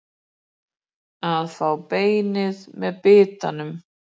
Að fá beinið með bitanum